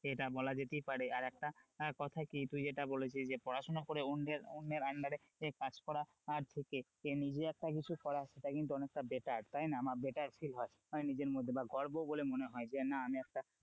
এটা বলা যেতেই পারে আর একটা কথা কি তুই যেটা বলেছিস যে পড়াশোনা করে অন্যের অন্যের under এ কাজ করার থেকে নিজে একটা কিছু করা সেটা কিন্তু অনেকটা better তাই না বা better feel হয় নিজের মধ্যে বা গর্ব বলে মনে হয় যে না আমি একটা,